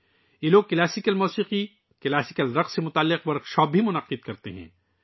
یہ لوگ لوک موسیقی اور لوک رقص سے متعلق ورک شاپس کا بھی اہتمام کرتے ہیں